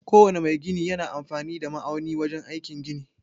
Ko wane mai gini yana amfani da ma'auni wajen aikin gini